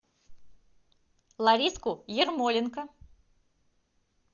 лариску ермоленко